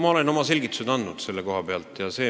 Ma olen selle koha pealt oma selgitused andnud.